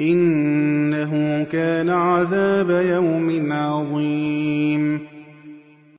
إِنَّهُ كَانَ عَذَابَ يَوْمٍ عَظِيمٍ